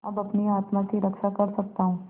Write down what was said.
अब अपनी आत्मा की रक्षा कर सकता हूँ